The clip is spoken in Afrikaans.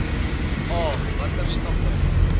a watter stappe